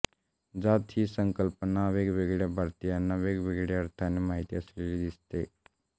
जात ही संकल्पना वेगवेगळ्या भारतीयांना वेगवेगळ्या अर्थाने माहिती असलेली दिसते